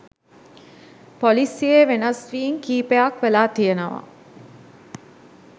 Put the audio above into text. පොලිසියේ වෙනස් වීම් කිහිපයක් වෙලා තියෙනවා